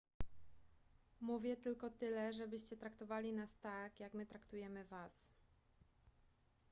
mówię tylko tyle żebyście traktowali nas tak jak my traktujemy was